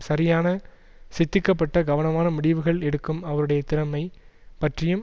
சரியான சித்திக்கப்பட்ட கவனமான முடிவுகள் எடுக்கும் அவருடைய திறமை பற்றியும்